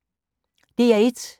DR1